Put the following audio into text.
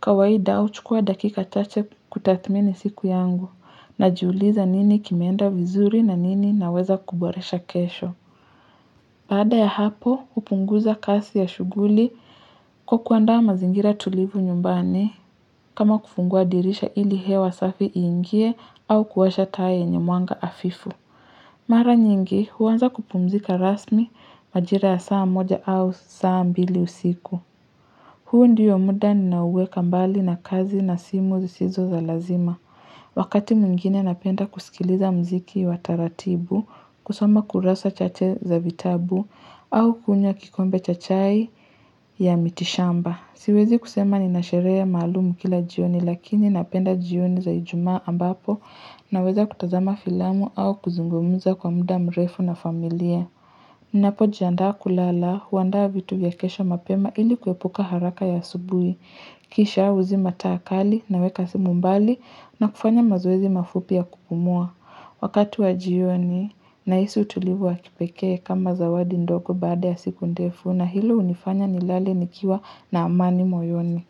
Kawaida huchukua dakika chache kutathmini siku yangu, na jiuliza nini kimeenda vizuri na nini naweza kuboresha kesho. Baada ya hapo, hupunguza kasi ya shughuli kwa kuandaa mazingira tulivu nyumbani, kama kufungua dirisha ili hewa safi iingie au kuwasha taa yenye mwanga hafifu. Mara nyingi huanza kupumzika rasmi majira ya saa moja au saa mbili usiku. Huu ndio muda ninaoweka mbali na kazi na simu zisizo za lazima. Wakati mwingine napenda kusikiliza mziki wa taratibu, kusoma kurasa chache za vitabu, au kunywa kikombe cha chai ya miti shamba. Siwezi kusema ninasheria maalumu kila jioni lakini napenda jioni za ijumaa ambapo na weza kutazama filamu au kuzungumza kwa muda mrefu na familia. Ninapo jiandaa kulala huandaa vitu vya kesho mapema ili kuepuka haraka ya asubuhi. Kisha huzima taa kali na weka simu mbali na kufanya mazoezi mafupi ya kupumua. Wakati wa jioni nahisu utulivu wa kipeke kama zawadi ndogo baada ya siku ndefu na hilo hunifanya nilale nikiwa na amani moyoni.